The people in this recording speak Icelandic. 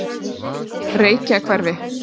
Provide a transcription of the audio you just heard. Reykjahverfi